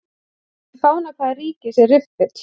Í fána hvaða ríkis er riffill?